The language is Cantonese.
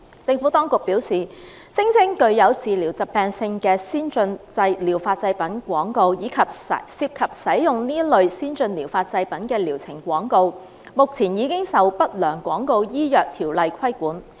政府當局表示，聲稱具有治療疾病特性的先進療法製品廣告，以及涉及使用這類先進療法製品的療程廣告，目前已受《不良廣告條例》規管。